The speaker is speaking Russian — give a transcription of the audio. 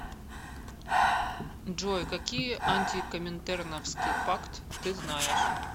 джой какие антикоминтерновский пакт ты знаешь